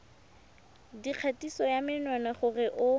dikgatiso ya menwana gore o